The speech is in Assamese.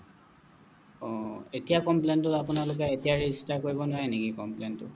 অহ এতিয়া complain টো আপোনালোকে এতিয়া register কৰিব নোৱাৰে নেকি complain টো